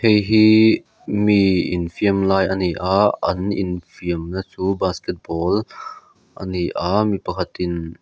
hei hi mi infiam lai a ni a an infiamna chu basketball a ni a mipakhat in--